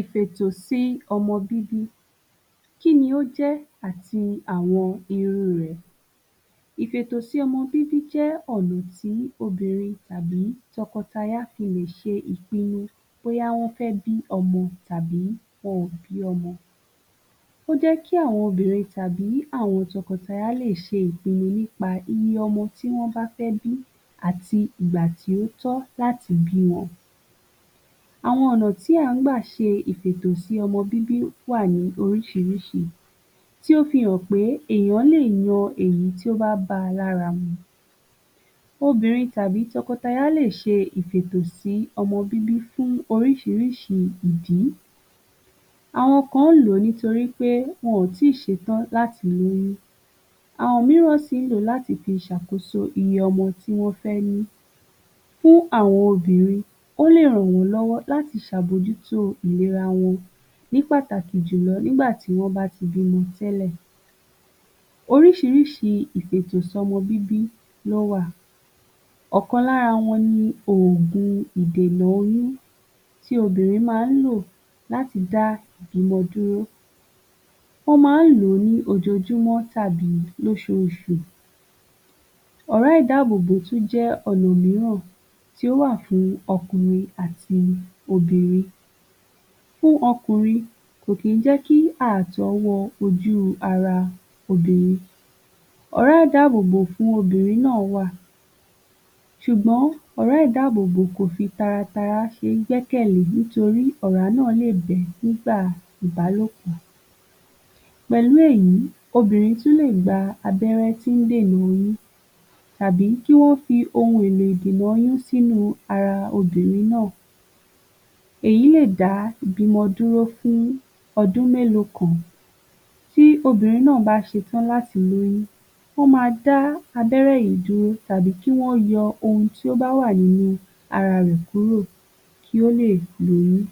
Ìfètòsọmọ bíbí kí ni ó jẹ́ àti àwọn irú rẹ̀, Ìfètòsọmọ bíbí jẹ́ ọ̀nà tí obìnrin tàbí tọkọ taya fi lè ṣe ìpínu bóyá wọn fẹ́ bí ọmọ tàbí wọn kò bí ọmọ. Ó jé kí àwọn obìnrin tàbí àwọn tọmọ taya lè ṣe ìpínu nípa iye ọmọ tí wọ́n wá fẹ́ bí àti ìgbà tí ó tọ́ láti bí wọn. Àwọn ọ̀nà tí à ń gbà láti ṣe Ìfètòsọmọ bíbí wà ní oríṣiríṣi tí ó fi hàn pé èèyàn lè yan èyí tí ó bá ba lára mu. Obìnrin tàbí tọkọ taya lè ṣe Ìfètòsọmọ bíbí fún oríṣiríṣi ìdí, àwọn nǹkan ń lò nítorí pé wọn ò tí ṣe tán láti ní, àwọn mìíràn sí ń lò láti fi ṣàkóso iye ọmọ tí wọ́n fẹ́ ní. Fún àwọn obìnrin ó lè ràn wọ́n lọ́wọ́ láti ṣe àbójútó ìléra wọn ní pàtàkì jùlọ nígbà tí wọ́n bá ti bímọ tẹ́lẹ̀. Oríṣiríṣi Ìfètòsọmọ bíbí ló wà, ọ̀kan lára wọn ni òògùn ìdènà oyún tj obìnrin máa ń lọ láti dá ìbímọ dúró, wọ́n máa ń lòó ní ojojúmọ́ tàbí lóṣoṣù. Ọ̀rá ìdábóbó tún jé ọ̀nà mìíràn tí ó wà fún ọkùnrin àti obìnrin, fún ọkùnrin kò kì í jẹ́kí àtọ̀ wọ ara obìnrin. Ọ̀rá ìdábóbó fún obìnrin náà wà, ṣùgbọ́n ọ̀rá ìdábóbó kò fi taratara gbẹ́kẹ̀ lè torí ọ̀rá náà lè bẹ́ nígbà ìbálòpọ̀. Pẹ̀lú èyí obìnrin tí ó lè gba abẹ́rẹ́ tí ó ń dènà oyún àbí kí wọ́n fi ohun èlò ìṣìnà oyún sínú ara obìnrin náà. Èyí lè dá ìbímọ dúró fún ọdún mélòó kan, tí obìnrin náà bá ṣe tàn láti lóyún wọ́n ma dá abẹ́rẹ́ yìí dúró àbí kí wọ́n yọ ohun tí ó bá wà nínú ara rẹ̀ kúrò kí ó lè lóyún.